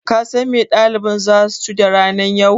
Kasan me ɗaliban zasu ci da ranan yau?